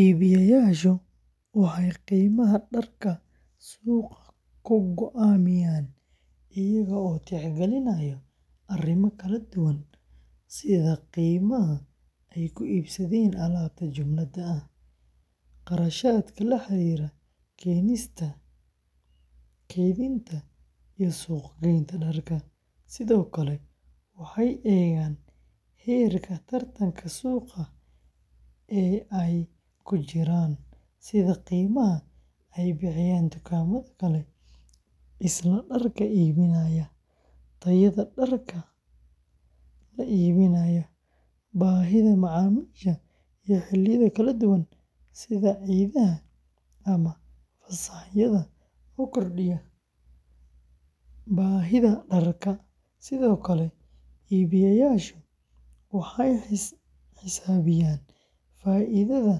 Iibiyeyaashu waxay qiimaha dharka suuqa ku go’aamiyaan iyaga oo tixgelinaya arrimo kala duwan sida qiimaha ay ku iibsadeen alaabta jumlada ah, kharashaadka la xiriira keenista, kaydinta, iyo suuq-geynta dharka, sidoo kale waxay eegaan heerka tartanka suuqa ee ay ku jiraan, sida qiimaha ay bixiyaan dukaamada kale ee isla dharka iibinaya, tayada dharka la iibinayo, baahida macaamiisha iyo xilliyada kala duwan sida ciidaha ama fasaxyada oo kordhiya baahida dharka, sidoo kale iibiyeyaasha waxay xisaabiyaan faa’iidada